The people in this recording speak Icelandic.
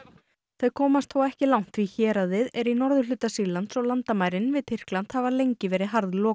þau komast þó ekki langt því héraðið er í norðurhluta Sýrlands og landamærin við Tyrkland hafa lengi verið